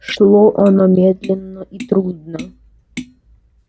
шло оно медленно и трудно